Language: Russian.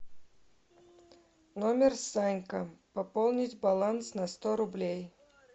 номер санька пополнить баланс на сто рублей